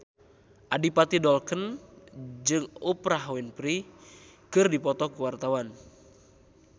Adipati Dolken jeung Oprah Winfrey keur dipoto ku wartawan